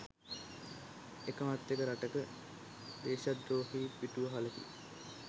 එකමත් එක රටක දේශද්‍රෝහී පිටුවහලකු